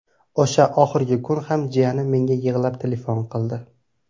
O‘sha oxirgi kun ham jiyanim menga yig‘lab telefon qildi.